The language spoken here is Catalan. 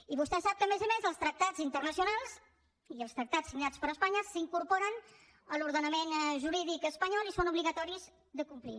i vostè sap que a més a més els tractats internacionals i els tractats signats per espanya s’incorporen a l’ordenament jurídic espanyol i són obligatoris de complir